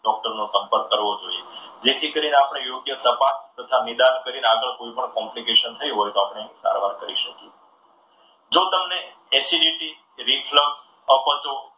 ડોક્ટરનો સંપર્ક કરવો જોઈએ. જેથી કરીને આપણે યોગ્ય તપાસ તથા નિદાન કરીને કોઈ પણ complication થઈ હોય તો એની સારવાર કરી શકીએ. જો તમને acidity reflect અપચો,